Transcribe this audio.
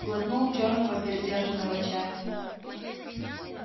глотнул чёрного передержанного чая